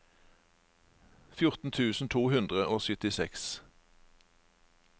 fjorten tusen to hundre og syttiseks